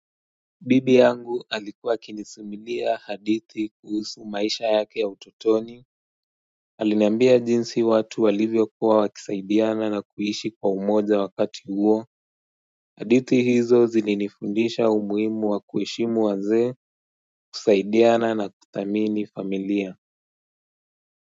Bibi yangu alikuwa akinisimulia hadithi kuhusu maisha yake ya utotoni alinambia jinsi watu walivyo kuwa wakisaidiana na kuishi kwa umoja wakati huo hadithi hizo zilinifundisha umuhimu wa kuheshimu wazee kusaidiana na kuthamini familia.